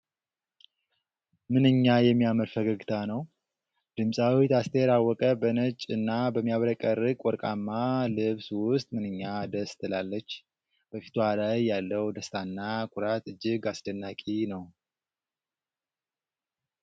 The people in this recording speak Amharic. ምንኛ የሚያምር ፈገግታ ነው! ድምፃዊት አስቴር አወቀ በነጭ እና በሚያብረቀርቅ ወርቃማ ልብስ ውስጥ ምንኛ ደስ ትላለች! በፊቷ ላይ ያለው ደስታና ኩራት እጅግ አስደናቂ ነው!